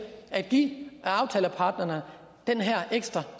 at give aftaleparterne den her ekstra